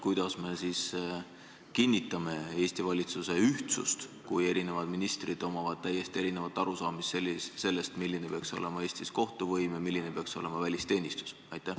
Kuidas me ikkagi kinnitame Eesti valitsuse ühtsust, kui eri ministritel on täiesti erinev arusaamine, milline peaks Eestis olema kohtuvõim ja milline peaks olema välisteenistus?